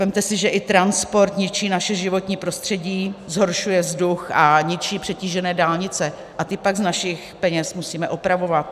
Vezměte si, že i transport ničí naše životní prostředí, zhoršuje vzduch a ničí přetížené dálnice a ty pak z našich peněz musíme opravovat.